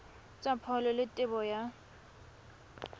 tsa pholo le tebo ya